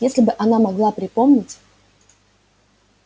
если бы она могла припомнить